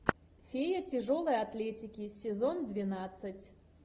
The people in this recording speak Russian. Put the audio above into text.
фея тяжелой атлетики сезон двенадцать